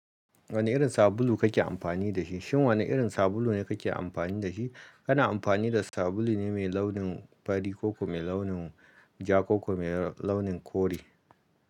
Wane irin sabulu kake amfani da shi? Shin wane irin sabulu ne ka ke amfani da shi? Kana amfani da sabulu ne mai launin fari ko kuma mai launin ja ko kuma mai launin kore.